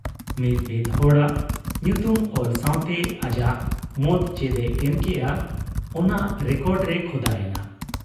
ᱢᱤ ᱢᱤᱫ ᱦᱚᱲᱟᱜ ᱧᱩᱛᱩᱢ ᱚᱞ ᱥᱟᱶᱛᱮ ᱟᱡᱟᱜ ᱢᱚᱛ ᱪᱮᱫ ᱮ ᱮᱢ ᱠᱮᱜ ᱟ , ᱚᱱᱟ ᱨᱮᱠᱚᱨᱰ ᱨᱮ ᱠᱷᱚᱫᱟ ᱮᱱᱟ ᱾